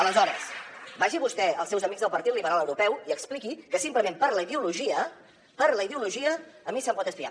aleshores vagi vostè als seus amics del partit liberal europeu i expliqui que simplement per la ideologia per la ideologia a mi se’m pot espiar